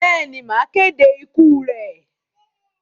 Bẹ́ẹ̀ ni, màá kéde ikú rẹ̀.